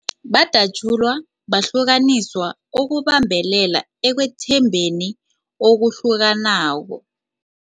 Badatjulwa, bahlukaniswa ukubambelela ekwethembekeni okuhlukanako.